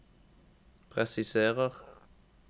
presiserer